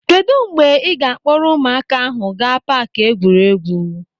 Kedụ mgbe ị ga akpọrọ ụmụaka ahụ gaa paaki egwuregwu.